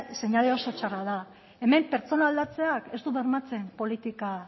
seinale oso txarra da hemen pertsona aldatzeak ez du bermatzen politika